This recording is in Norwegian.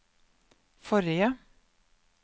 forrige